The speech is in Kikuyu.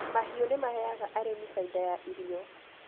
Mahiũ nĩ maheaga arĩmi baida ya irio